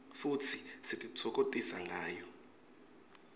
futsi sititfokotisa ngayo